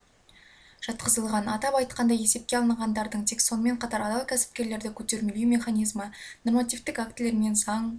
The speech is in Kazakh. жатқызылған атап айтқанда есепке алынғандардың тек сонымен қатар адал кәсіпкерлерді көтермелеу механизмі нормативтік актілермен заң